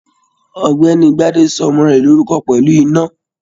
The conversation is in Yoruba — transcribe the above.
Ọ̀gbẹ́ni Gbade sọ ọmọ rẹ lórúkọ pẹlú ina